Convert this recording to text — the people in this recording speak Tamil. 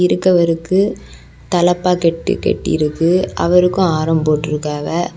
இங்க அவருக்கு தலப்பா கெட்டு கட்டி இருக்கு அவருக்கும் ஆரம் போட்டுருக்காவ.